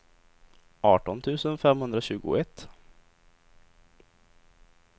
arton tusen femhundratjugoett